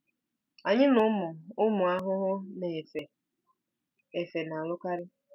Anyị na ụmụ ụmụ ahụhụ na-efe efe na-alụkarị.